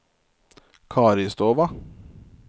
Karistova